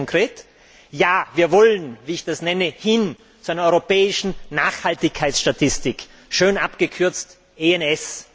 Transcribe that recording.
Das heißt konkret Ja, wir wollen wie ich das nenne hin zu einer europäischen Nachhaltigkeitsstatistik, schön abgekürzt S.